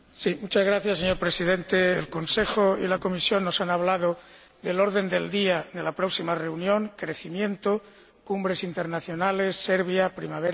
Señor Presidente, el Consejo y la Comisión nos han hablado del orden del día de la próxima reunión crecimiento, cumbres internacionales, Serbia, primavera árabe